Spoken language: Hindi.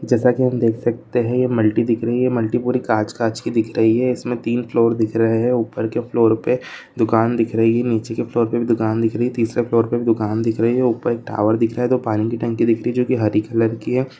जैसा की हम देख सकते है मल्टी दिख रही है मल्टी पूरी कांच कांच की दिख रही है इसमे तीन फ्लोर दिख रहे है ऊपर के फ्लोर पे दुकान दिख रही है नीचे की फ्लोर पे भी दुकान दिख रही है तीसरे फ्लोर पे दुकान दिख रही है ऊपर एक टावर दिख रहा है दो पानी की टंकी दिख रही है जोकि हरे कलर की है।